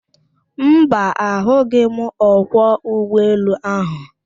Mba, a hụghị m ọkwọ ụgbọ elu ahụ.